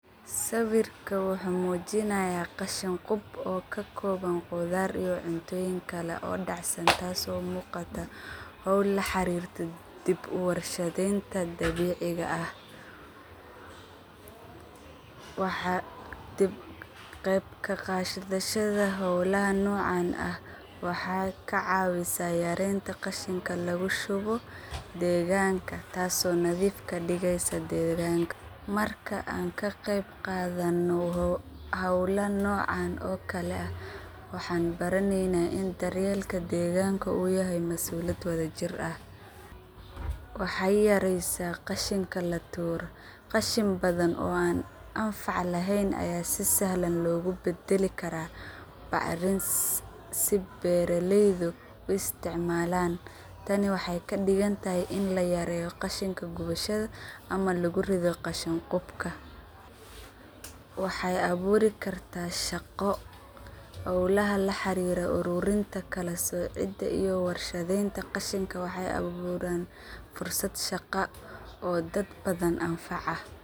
Sawirkan wuxu muujinaya qashin qub oo kakooban qudhaar iyo cuntooyin kale oo dac San taas oo muuqata howl laxariirta dib uwarshadeynta dabiiciga ah. Waxaa dib geyb kaqadhashada howlaha noocan ah waxey kacaawisa yareesa qashinka lagushubo degaanka taas oo nadhiif kadigeysa degaanka. Marka aan kaqeyb qaadhana hawla noocan oo kale ah waxaan baraneyna in dareyeelka deeganka uu yahy masuuliyada wadhajir ah. Waxey yareesa qashinka latuuro qashin badhan oo aan anfac laheen ayaan si sahlan logubadali karaa bacarin si beeraleydu usiticmalaan. Tani waxey kadigantahy in layareeyo qashinka gubashada ama laguridho qashin qubka. Waxey abuuri karta shaqo howlaha laxariiro uruurinta kalasoocida iyo warshadeenta qashinka waxey aburaan fursad shaqa oo dad badhan anfaca.